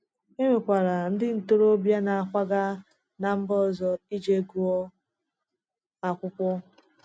E nwekwara ndị ntorobịa na-akwaga ná mba ọzọ ije gụọ akwụkwọ.